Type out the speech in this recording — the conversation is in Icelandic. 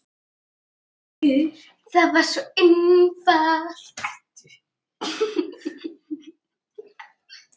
Hjörtur: Það er svo einfalt?